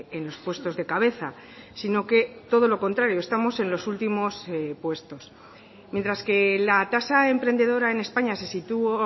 en los puestos de cabeza sino que todo lo contrario estamos en los últimos puestos mientras que la tasa emprendedora en españa se situó